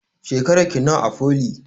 Shekarar ki nawa a foli?